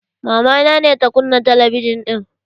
Mamana ne ta kunna talabijan ɗin